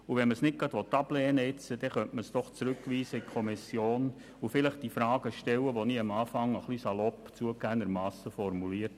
Wenn man keine Ablehnung möchte, könnte man zumindest eine Rückweisung in die Kommission vornehmen und meine eingangs etwas salopp gestellten Fragen diskutieren.